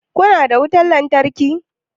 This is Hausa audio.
Kuna da wutan lantarki?